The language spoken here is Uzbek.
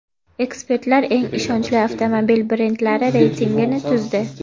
Ekspertlar eng ishonchli avtomobil brendlari reytingini tuzdi.